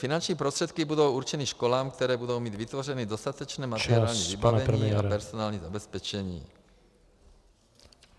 Finanční prostředky budou určeny školám, které budou mít vytvořeny dostatečné materiální vybavení a personální zabezpečení.